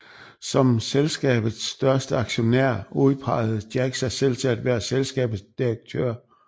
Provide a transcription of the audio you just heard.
Som selskabets største aktionær udpegede Jack sig selv til at være selskabets direktør